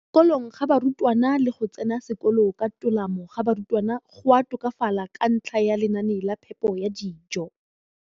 kolong ga barutwana le go tsena sekolo ka tolamo ga barutwana go a tokafala ka ntlha ya lenaane la phepo ya dijo.